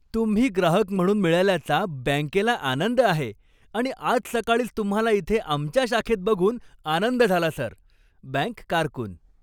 तुम्ही ग्राहक म्हणून मिळाल्याचा बँकेला आनंद आहे आणि आज सकाळीच तुम्हाला इथे आमच्या शाखेत बघून आनंद झाला, सर! बँक कारकून